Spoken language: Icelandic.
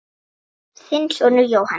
Þinn sonur, Jóhann.